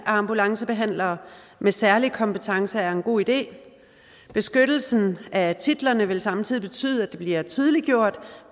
ambulancebehandlere med særlige kompetencer er en god idé beskyttelsen af titlerne vil samtidig betyde at det bliver tydeliggjort